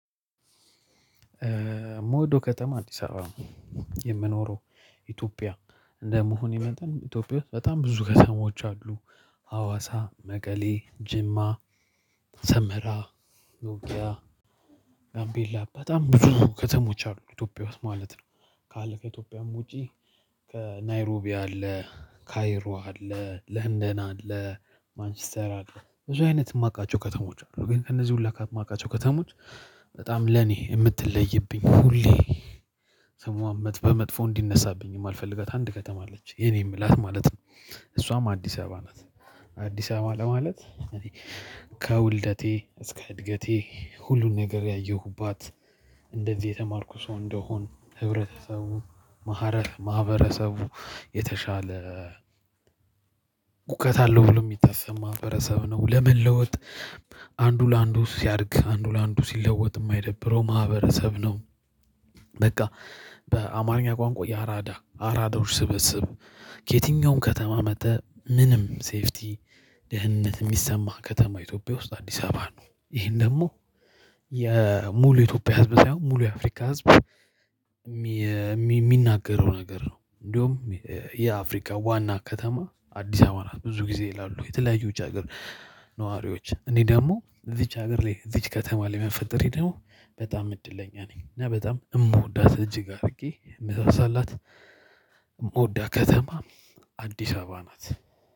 ምወደው ከተማ አንተ ይሰራል። የምኖረው ኢትዮጵያ እንደመሆኔ መጠን ኢትዮጵያ በጣም ብዙ ከሰሞች አሉ። ሀዋሳ መቀሌ ጅማ ሰምራ ኖቢያ ጋምቤላ በጣም ብዙ ከተሞች አሉ ኢትዮጵያ ውስጥ ማለት ነው። ካለ ከኢትዮጵያም ውጪ ከናይሮቢያ አለ ካይሮ አለ ለንደና አለ። ብዙ አይነት የማውቃቸው ከተሞች ነው። ግን እነዚህ ሁላ የማውቃቸው ከተሞች በጣም ለኔ የምትለይብኝ ሁሌ ስሟ በመጥፎ እንዲነሳብኝ የማልፈልገት አንድ ከተማ አለች የኔ ምላት ማለት ነው። እሷም አዲስ አበባ ናት። አዲስ አበባ ለማለት ከውልደቴ እስከ እድገቴ ሁሉን ነገር ያየሁባት። እንደዚህ የተማርኩ ሰው እንደሆን ህብረተሰቡ ማህበረሰቡ የተሻለ እውቀት አለው ብሎ ሁሉም የሚታሰብ ማህበረሰብ ነው። ለመለወጥ አንዱ ለአንዱ ሲያድግ አንዱ ለአንዱ ሲለወጥ የማይደብረው ማህበረሰብ ነው። በቃ በአማርኛ ቋንቋ የአራዳ አራዳዎች ስበስብ ከየትኛውም ከተማ መጥተህ ምንም ሴፍቲ ደህንነት የሚሰማ ከተማ ኢትዮጵያ ውስጥ አዲስ አበባ ነው። ይሄን ደግሞ የሙሉ የኢትዮጵያ ህዝብ ሳይሆን ሙሉ የአፍሪካ ህዝብ የሚናገረው ነገር ነው። እንደውም የአፍሪካ ዋና ከተማ አዲስ አበባ ናት። ብዙ ጊዜ ይላሉ የተለያዩ ውጭ ሀገር ነዋሪዎች እኔ ደግሞ እዚች ሀገር ላይ እዚች ከተማ ላይ መፈጠር ይሄ ደግሞ በጣም እድለኛ ነኝ። እና በጣም የምወዳት እጅግ አድርጌ የምትሰላት የምወዳ ከተማ አዲስ አበባ ናት